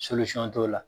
t'o la